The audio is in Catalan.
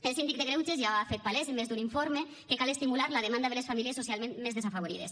el síndic de greuges ja ha fet palès en més d’un informe que cal estimular la demanda de les famílies socialment més desafavorides